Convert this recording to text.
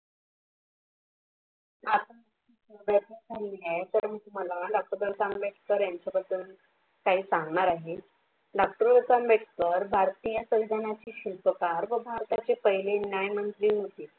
तर मी तुम्हाला डॉक्टर बाबासाहेब आंबेडकर यांच्याबद्दल काही सांगणार आहे. आंबेडकर, भारतीय सर्जनाचा शिल्पकार व भारताचे पहिले न्यायमंत्री होते.